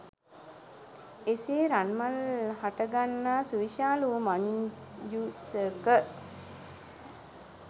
එසේ රන්මල් හටගන්නා සුවිශාල වූ මංජූසක